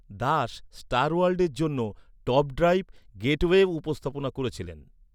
Das star ওয়ার্ল্ডের জন্য top drive গেটওয়েও উপস্থাপনা করেছিলেন।